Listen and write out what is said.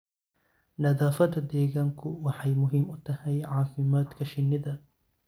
Nadaafadda deegaanku waxay muhiim u tahay caafimaadka shinnida.